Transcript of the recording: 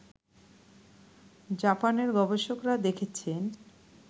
জাপানের গবেষকরা দেখেছেন